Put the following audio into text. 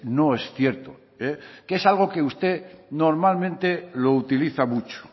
no es cierto que es algo que usted normalmente lo utiliza mucho